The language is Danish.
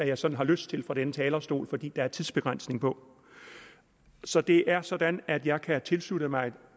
jeg sådan har lyst til fra denne talerstol fordi der er tidsbegrænsning på så det er sådan at jeg kan tilslutte mig